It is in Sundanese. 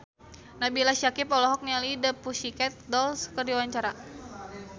Nabila Syakieb olohok ningali The Pussycat Dolls keur diwawancara